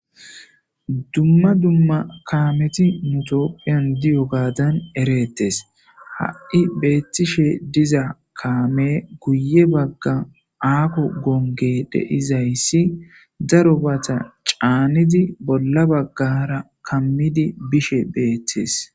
dumma dumma kaameti mitoophiyan diyo gaadan ereettes ha7i beettishe diza kaame guye bagga aako gonge deizayssi daro baata caanidi bolla baggara kammidi bishe beettes